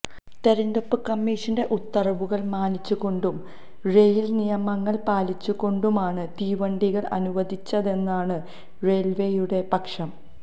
തിരഞ്ഞെടുപ്പ് കമ്മിഷന്റെ ഉത്തരവുകള് മാനിച്ചുകൊണ്ടും റെയില്നിയമങ്ങള് പാലിച്ചുകൊണ്ടുമാണ് തീവണ്ടികള് അനുവദിച്ചതെന്നാണ് റെയില്വേയുടെ പക്ഷം